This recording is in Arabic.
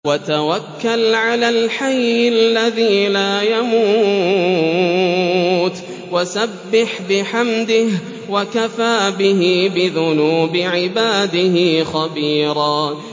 وَتَوَكَّلْ عَلَى الْحَيِّ الَّذِي لَا يَمُوتُ وَسَبِّحْ بِحَمْدِهِ ۚ وَكَفَىٰ بِهِ بِذُنُوبِ عِبَادِهِ خَبِيرًا